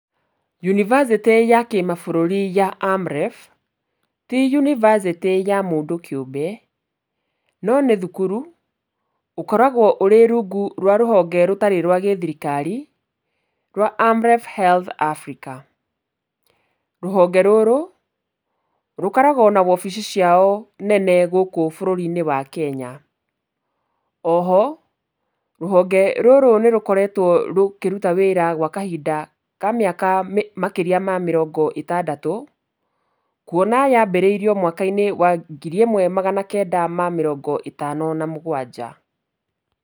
Yunibacĩtĩ ya kĩmabũrũri ya AMREF, ti yunibacĩtĩ ya mũndũ kĩũmbe, no nĩ thukuru ũkoragwo ũrĩ rungu rwa rũhonge rũtarĩ rwa gĩthirikari rwa AMREF Health Africa. Rũhonge rũrũ, rũkoragwo na wabici ciao nene gũkũ bũrũri-inĩ wa Kenya, o ho, rũhonge rũrũ nĩ rũkoretwo rũkĩruta wĩra gwa kahinda ka mĩaka makĩria ma mĩrongo ĩtandatũ, kuona yambĩrĩirio mwaka-inĩ wa ngiri ĩmwe magana kenda ma mĩrongo ĩtano na mũgwanja.